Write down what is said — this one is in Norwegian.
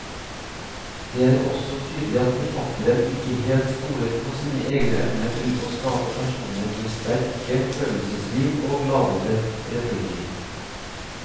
Det er også tydelig at forfatteren ikke helt stoler på sine egne evner til å skape personer med sterke følelsesliv og ladete replikker.